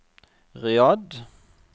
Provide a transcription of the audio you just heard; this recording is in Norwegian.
Riyadh